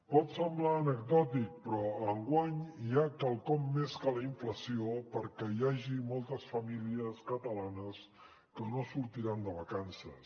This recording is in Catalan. pot semblar anecdòtic però enguany hi ha quelcom més que la inflació perquè hi ha moltes famílies catalanes que no sortiran de vacances